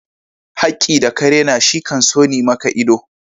Hakki da ka rena shi kan soni maka ido.